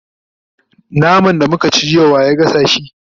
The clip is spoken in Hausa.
naman da muka ci jiya wa ya gasa shi?